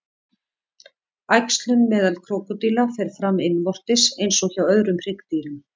Æxlun meðal krókódíla fer fram innvortis eins og hjá öðrum hryggdýrum.